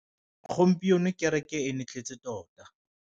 Gompieno kêrêkê e ne e tletse tota.